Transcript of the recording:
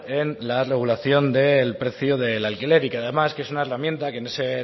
en la regulación del precio del alquiler y que además que es una herramienta que en ese